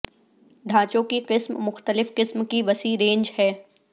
ڈھانچوں کی قسم مختلف قسم کی وسیع رینج ہے